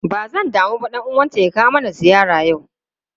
Ba zan damu ba dan uwanta ys kawo mana ziyara yau.